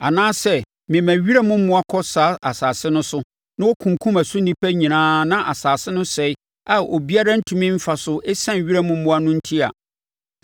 “Anaa sɛ mema wiram mmoa kɔ saa asase no so na wɔkunkum ɛso nnipa nyinaa na asase no sɛe a obiara ntumi mfa so ɛsiane wiram mmoa no enti a,